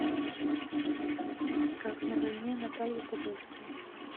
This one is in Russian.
как на войне наталья подольская